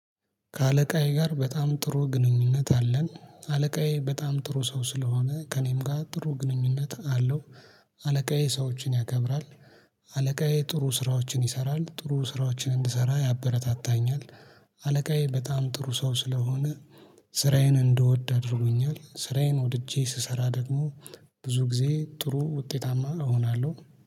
ከአለቃዬ ጋር በጣም ጥሩ ግንኙነት አለን አለቃዬ በጣም ጥሩ ሰው ስለሆነ ከእኔም ጋር ጥሩ ግንኙነት አለው። አለቃዬ ሰዎችን ያከብራል። አለቃዬ ጥሩ ስራዎችን ይሰራል ጥሩ ስራዎችን እንድሰራ ያበረታታኛል። አለቃዬ በጣም ጥሩ ሰው ስለሆነ ስራዬን እንድወድ አድርጎኛል። ስራዬን ወድጄ ስሰራ ደግሞ ብዙ ጊዜ ጥሩ ውጤታማ እሆናለሁ